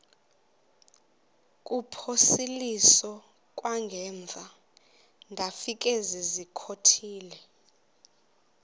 kuphosiliso kwangaemva ndafikezizikotile